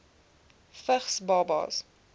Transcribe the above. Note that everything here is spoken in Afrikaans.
vigs babas